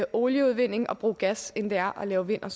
olieudvinding og bruge gas end det er at lave vind og